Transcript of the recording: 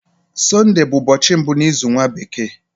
Sunday bu ubochi mbu n'izu nwa bekee.